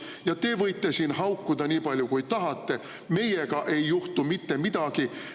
Ja te võite siin haukuda nii palju kui tahate, meiega ei juhtu mitte midagi.